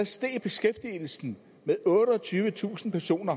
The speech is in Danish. steg beskæftigelsen med otteogtyvetusind personer